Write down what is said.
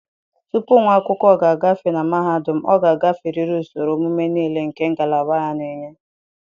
Tupu nwa akwụkwọ ga-agafe na mahadum, ọ ga-agaferịrị usoro ọmụmụ niile nke ngalaba ya na-enye.